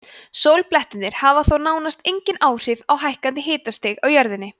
sólblettirnir hafa þó nánast engin áhrif á hækkun hitastigs á jörðunni